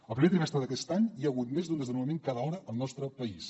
el primer trimestre d’aquest any hi ha hagut més d’un desnonament cada hora al nostre país